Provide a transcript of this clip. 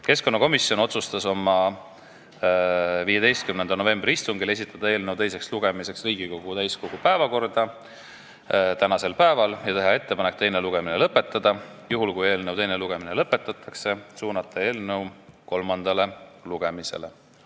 Keskkonnakomisjon otsustas oma 15. novembri istungil saata eelnõu teiseks lugemiseks Riigikogu täiskogu päevakorda tänaseks päevaks ja teha ettepaneku teine lugemine lõpetada ning kui eelnõu teine lugemine lõpetatakse, siis on ettepanek saata eelnõu kolmandale lugemisele.